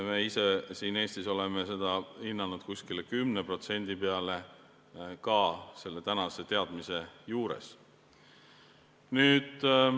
Me ise Eestis oleme seda hinnanud 10% peale, ka tänaste teadmiste põhjal.